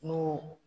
N'o